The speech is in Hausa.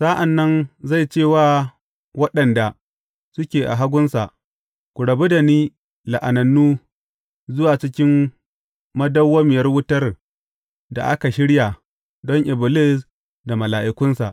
Sa’an nan zai ce wa waɗanda suke a hagunsa, Ku rabu da ni, la’anannu, zuwa cikin madawwamiyar wutar da aka shirya don Iblis da mala’ikunsa.